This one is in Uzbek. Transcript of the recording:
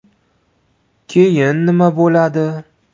Keyin nima bo‘ladi?